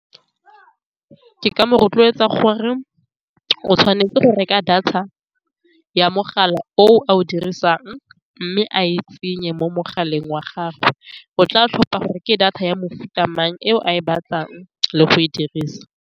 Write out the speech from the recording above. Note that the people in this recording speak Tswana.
Ke ka mo rotloetsa gore o tshwanetse go reka data ya mogala o a o dirisang, mme a e tsenye mo mogaleng wa gagwe. O tla tlhopa gore ke data ya mofuta mang eo a e batlang le go e dirisa.